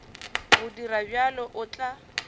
go dira bjalo o tla